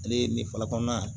Ale ye nin falen kɔnɔna ye